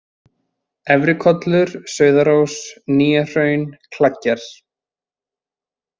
Efrikollur, Sauðárós, Nýjahraun, Kleggjar